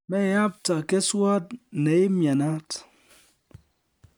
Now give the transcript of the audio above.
Meyapta keswot neimyenat